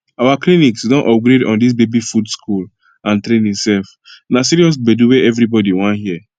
our clinics don upgrade on this baby food school and training sef na serious gbedu wey everybody wan hear